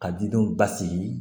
Ka didenw basigi